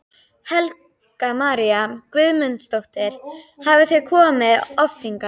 Helga María Guðmundsdóttir: Hafið þið komið oft hingað?